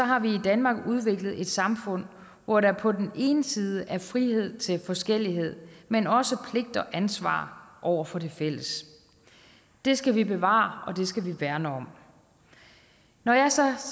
har vi i danmark udviklet et samfund hvor der på den ene side er frihed til forskellighed men også pligter og ansvar over for det fælles det skal vi bevare og det skal vi værne om når jeg så